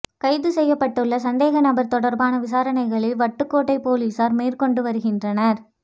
கைது செய்யப்பட்டுள்ள சந்தேக நபர் தொடர்பான விசாரணைகளை வட்டுக்கோட்டை பொலிஸார் மேற்கொண்டு வருகின்ற